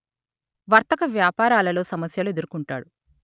వర్తక వ్యాపారాలలోసమస్యలు ఎదుర్కొంటారు